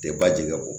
Tɛ ba jigin o kɔ